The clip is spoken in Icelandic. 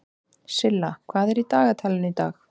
Silla, hvað er í dagatalinu í dag?